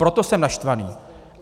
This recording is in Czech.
Proto jsem naštvaný.